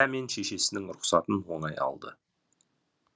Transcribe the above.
ділдә мен шешесінің рұхсатын оңай алды